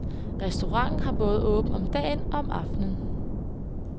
Restauranten har åbent både om dagen og om aftenen.